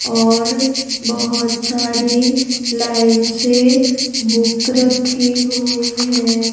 और बहुत सारी लाइन से बुक रखी हुई हैं.